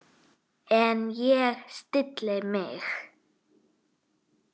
En ég stilli mig.